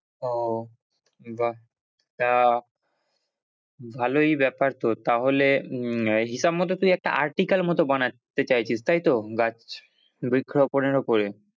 ওহ বাহ্ তা ভালোই ব্যাপার তোর, তাহলে উম হিসাব মতো তুই একটা article মতো বানাতে চাইছিস তাইতো, গাছ বৃক্ষরোপনের ওপরে?